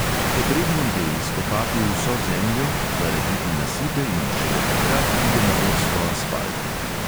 Potrebno je izkopati vso zemljo, narediti nasipe in šele takrat pride na vrsto asfalt.